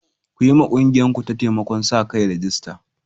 Ku yiwa ƙungiyarku ta taimakon sa-kai rajista.